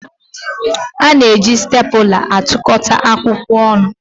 A na-eji stèpula atụkọta akwụkwọ ọnụ